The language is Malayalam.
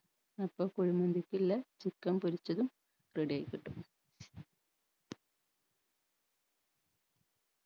അപ്പം കുഴിമന്തിക്കില്ലെ chicken പൊരിച്ചതും ready ആയിക്കിട്ടും